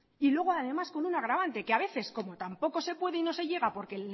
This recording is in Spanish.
y luego además con un agravante que a veces como tampoco se puede y no se llega porque